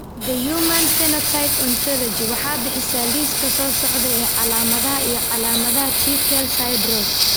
The Human Phenotype Ontology waxay bixisaa liiska soo socda ee calaamadaha iyo calaamadaha Tukel syndrome.